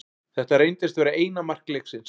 Þetta reyndist vera eina mark leiksins.